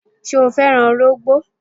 Ṣé o fẹ́ràn ọrọ̀gbó?